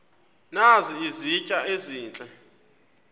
nazi izitya ezihle